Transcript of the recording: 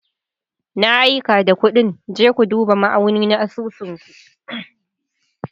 Na aika da kuɗin, je ku duba ma'auni na asusun ku.